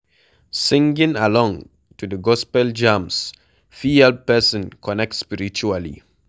Singing along to the gospel jams fit help person connect spiritually